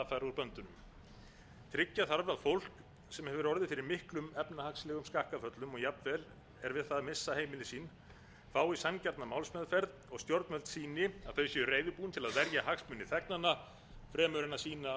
böndum tryggja þarf að fólk sem erjur orðið fyrir miklum efnahagslegum skakkaföllum og jafnvel er við það að missa heimili sín fái sanngjarna málsmeðferð og stjórnvöld sýni að þau séu reiðubúin til að verja hagsmuni þegnanna fremur en að sýna